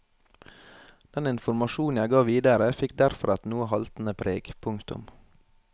Den informasjon jeg ga videre fikk derfor et noe haltende preg. punktum